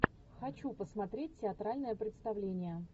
хочу посмотреть театральное представление